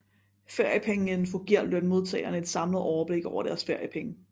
Feriepengeinfo giver lønmodtagerne et samlet overblik over deres feriepenge